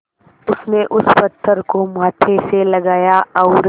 उसने उस पत्थर को माथे से लगाया और